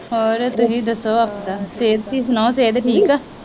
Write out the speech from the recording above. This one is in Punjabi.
ਹੋਰ ਤੁਸੀ ਦਸੋ ਆਪਦਾ ਸਿਹਤ ਦੀ ਸੁਣਾਓ ਸਿਹਤ ਠੀਕ ਆ।